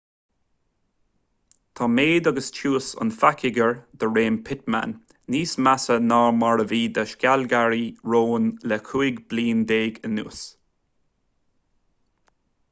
tá méid agus tiús an phacoighir de réir pittman níos measa ná mar a bhí do shealgairí rón le cúig bliana déag anuas